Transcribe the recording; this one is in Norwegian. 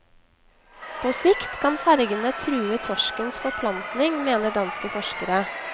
På sikt kan fergene true torskens forplantning, mener danske forskere.